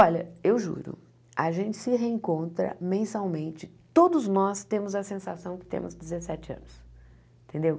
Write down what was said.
Olha, eu juro, a gente se reencontra mensalmente, todos nós temos a sensação que temos dezessete anos, entendeu?